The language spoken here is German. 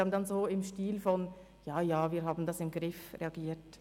Sie haben dann im Stil von «Ja, ja, wir haben das im Griff» reagiert.